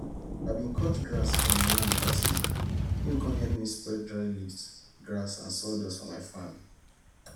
i bin cut grass for e land last week him come help me spread dry leaves grass and sawdust for my farm